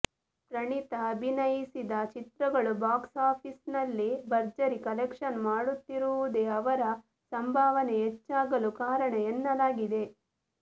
ಪ್ರಣೀತಾ ಅಭಿನಯಿಸಿದ ಚಿತ್ರಗಳು ಬಾಕ್ಸ್ ಆಫೀಸಲ್ಲಿ ಭರ್ಜರಿ ಕಲೆಕ್ಷನ್ ಮಾಡುತ್ತಿರುವುದೇ ಅವರ ಸಂಭಾವನೆ ಹೆಚ್ಚಾಗಲು ಕಾರಣ ಎನ್ನಲಾಗಿದೆ